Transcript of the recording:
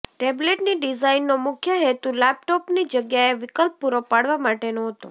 ટેબ્લેટની ડિઝાઇનનો મુખ્ય હેતુ લેપટોપની જગ્યાએ વિકલ્પ પૂરો પાડવા માટેનો હતો